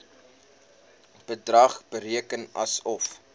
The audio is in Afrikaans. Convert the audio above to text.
bedrag bereken asof